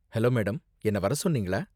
Hello madam, என்ன வர சொன்னீங்களா?